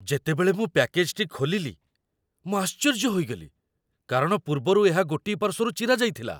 ଯେତେବେଳେ ମୁଁ ପ୍ୟାକେଜ୍‌ଟି ଖୋଲିଲି, ମୁଁ ଆଶ୍ଚର୍ଯ୍ୟ ହୋଇଗଲି କାରଣ ପୂର୍ବରୁ ଏହା ଗୋଟିଏ ପାର୍ଶ୍ୱରୁ ଚିରାଯାଇଥିଲା!